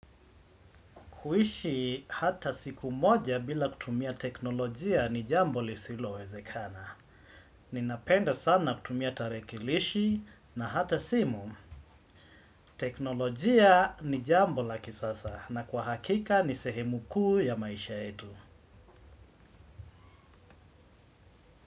Kuishi hata siku moja bila kutumia teknolojia ni jambo lisilowezekana. Ninapenda sana kutumia tarekilishi na hata simu. Teknolojia ni jambo la kisasa na kwa hakika ni sehemu kuu ya maisha yetu.